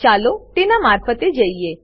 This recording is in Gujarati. ચાલો તેના મારફતે જઈએ